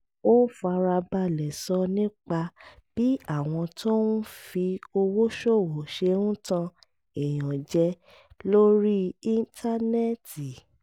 ó fara balẹ̀ sọ nípa bí àwọn tó ń fi owó ṣòwò ṣe ń tan èèyàn jẹ lórí íńtánẹ́ẹ̀tì